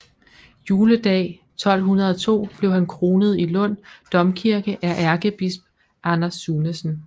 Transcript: Juledag 1202 blev han kronet i Lund Domkirke af ærkebisp Anders Sunesen